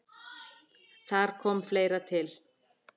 Þar kom fleira til.